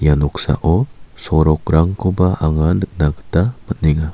ia noksao sorokrangkoba anga nikna gita man·enga.